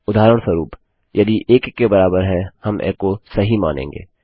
उदाहरणस्वरूप यदि 1 1 के बराबर है हम एको सही मानेंगे